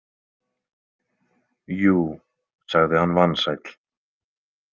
Jú, sagði hann vansæll.